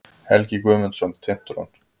Helgi Guðmundsson, Tintron.